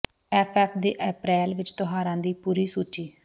F F ਦੇ April ਵਿਚ ਤਿਉਹਾਰਾਂ ਦੀ ਪੂਰੀ ਸੂਚੀ